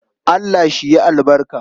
Allah shi yi albarka.